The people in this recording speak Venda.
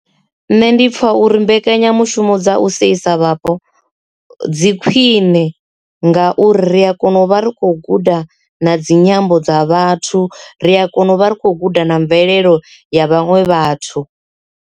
Nṋe ndi pfha uri mbekanyamushumo dza u sedzisa vhapo dzi khwine ngauri ri a kona u vha ri khou guda na dzinyambo dza vhathu ri a kona u vha ri khou guda na mvelelo ya vhaṅwe vhathu.